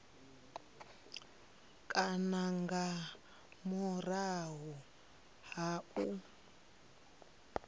kana nga murahu ha u